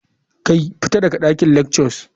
Kai! fita daga dakin lectures.